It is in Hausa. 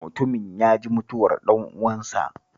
Mutumin ya ji mutuwar ɗan'uwansa